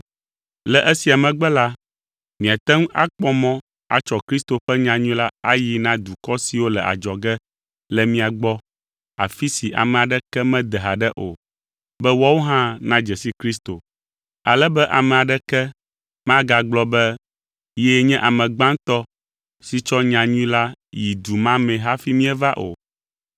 Le esia megbe la, miate ŋu akpɔ mɔ atsɔ Kristo ƒe nyanyui la ayii na dukɔ siwo le adzɔge le mia gbɔ afi si ame aɖeke mede haɖe o, be woawo hã nadze si Kristo. Ale be ame aɖeke magagblɔ be yee nye ame gbãtɔ si tsɔ nyanyui la yi du ma me hafi míeva o.